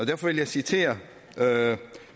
derfor vil jeg citere